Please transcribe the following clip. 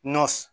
Nɔ